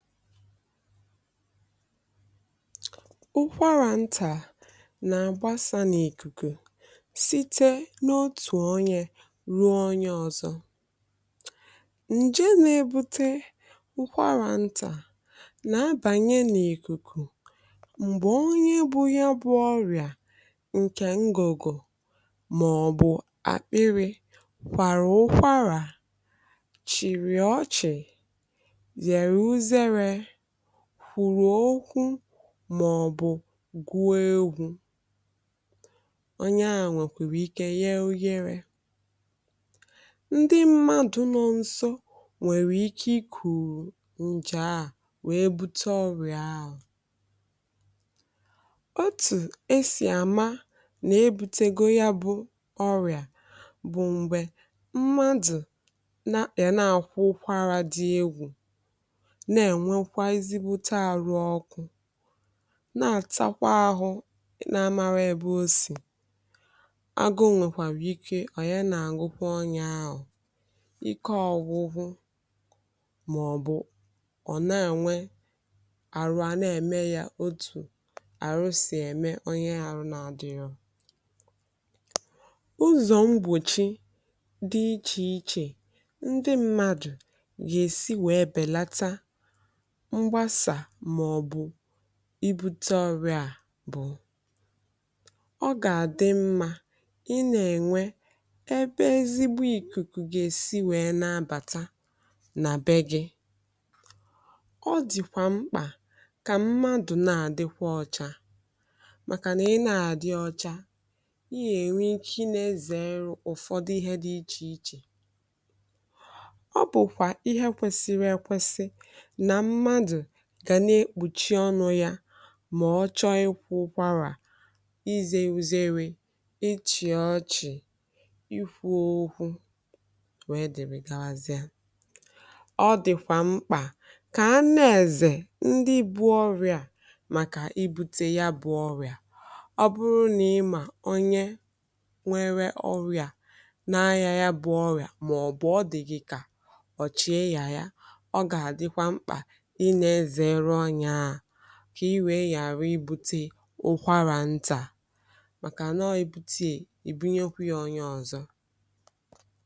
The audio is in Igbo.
Ụkwara ntà na-agbasa n’ìkùkù site n’otu onye ruo onye ọzọ. Nje na-ebute ụkwara ntà na-abanye n’ìkùkù mgbe onye nwere ọrịa ahụ gwọpụtara ọ bụrụ na ọ kwàrà ụkwara, chịrì ọchị, kwụrụ okwu, maọbụ gwụọ egwú. Onye ahụ nwere ike ya oyèrè. Ndị mmadụ nọ nso nwere ike ikuuru nje ahụ wee bute ọrịa ahụ. Otu esi ama na ebutere gị ọrịa ahụ bụ: mgbe mmadụ na-akwụkwara ụkwara dị egwu, na-atakwa ahụ, na amaara ebe o si agụ, nwekwara ike ọ gwụchaghị ma ọ bụ na-enwe ọrịa a na-eme ya otu a. Ọrụ ndị a bụ ụzọ mgbọchi dị iche iche ka mmadụ ghara ibute ọrịa a: Ọ ga-adị mma ị na-enwe ebe ezi ikuku si abata na ụlọ gị. Ọ dịkwa mkpa ka mmadụ na-adi ọcha, maka na ịnọ ọcha ga-enyere gị izere nje. Gbalịa ikpuchi ọnụ gị mgbe ị na-ụkwara, na mgbe ịchọ ịchịrị ọchị. Zere ifụ ụkwụ, dịbiga ala zịa. Ọ dịkwa mkpa ka a na-ezere ndị nwere ọrịa, maka ibute ya bụ ọrịa. Ọ bụrụ na ị ma onye nwere ọrịa a, ma ọ bụ na o yiri ka ọ nwere ya, ka i wee ghara ibute ụkwara ntà, zere iso ya binye okwu nso.